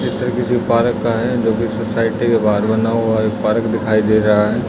चित्र किसी पारक का हैं जो की सोसाइटी के बाहर बना हुआ है। एक पारक दिखाई दे रहा हैं।